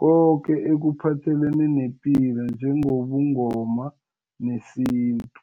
koke ekuphathelene nepilo njengobuNgoma nesintu.